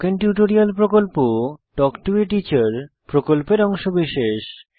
spoken tutorial প্রকল্প talk to a teacher প্রকল্পের অংশবিশেষ